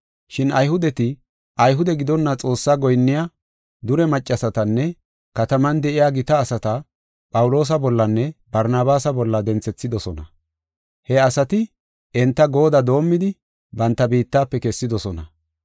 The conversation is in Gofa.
Shin Ayhudeti, Ayhude gidonna Xoosse goyinniya dure maccasatanne kataman de7iya gita asata Phawuloosa bollanne Barnabaasa bolla denthethidosona. He asati enta goodda doomidi banta biittafe kessidosona.